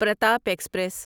Pratap express